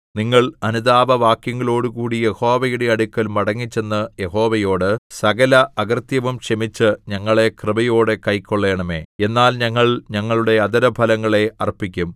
നിങ്ങൾ അനുതാപവാക്യങ്ങളോടുകൂടി യഹോവയുടെ അടുക്കൽ മടങ്ങിച്ചെന്ന് യഹോവയോട് സകല അകൃത്യവും ക്ഷമിച്ച് ഞങ്ങളെ കൃപയോടെ കൈക്കൊള്ളണമേ എന്നാൽ ഞങ്ങൾ ഞങ്ങളുടെ അധരഫലങ്ങളെ അർപ്പിക്കും